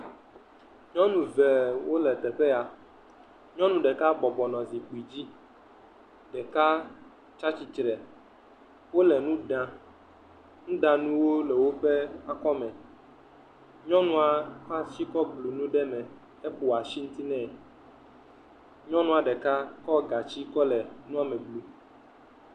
Nyɔnu vewo le teƒe ya. Nyɔnu ɖeka bɔbɔnɔ zikpui dzi ɖeka tsia tsitre. Wole nu ɖam nuɖanuwo le woƒe akɔ me. Nyɔnua ƒe asi kɔ blu nu ɖe me eƒo asi ŋuti nɛ. Nyɔnua ɖeka kɔ gatsi kɔ le nua me blum.